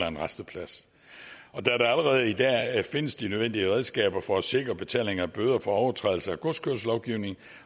en rasteplads da der allerede i dag findes de nødvendige redskaber for at sikre betalingen af bøder for overtrædelse af godskørselslovgivningen